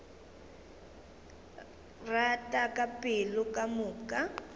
rata ka pelo ka moka